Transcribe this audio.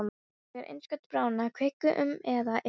Þegar innskot bráðinnar kviku, um eða yfir